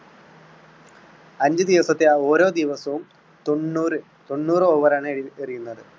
അഞ്ച് ദിവസത്തെ ഓരോ ദിവസവും തൊണ്ണൂറ് തൊണ്ണൂറ് over ആണ് എറി~എറിയുന്നത്.